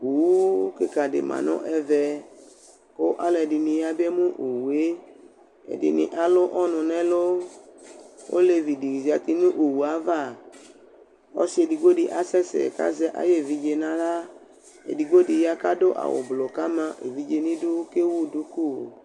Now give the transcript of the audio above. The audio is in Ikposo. Owu kɩka dɩ ma nʋ ɛvɛ, kʋ alʋ ɛdɩnɩ yabemu owu yɛ, ɛdɩnɩ alʋ ɔnʋ nʋ ɛlʋ, olevi dɩ zati nʋ owu yɛ ava, ɔsɩ edigbo dɩ asɛsɛ kʋ azɛ ayevidze nʋ aɣla, edigbo dɩ ya kʋ adʋ awʋ blʋ kʋ ama evidze dɩ nʋ idu, kʋ ewu duku